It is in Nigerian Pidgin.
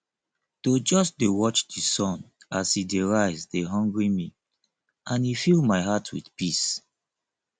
to just dey watch di sun as e dey rise dey hungry me and e fill my heart with peace